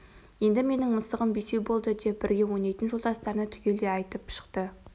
енді менің мысығым бесеу болды деп бірге ойнайтын жолдастарына түгелдей айтып шықты